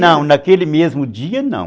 Não, naquele mesmo dia não.